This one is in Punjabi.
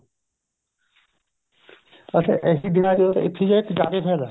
ਅੱਛਾ ਇਸੇ ਦਿਨਾ ਚ ਇੱਥੇ ਜਾ ਕੇ ਫਾਇਦਾ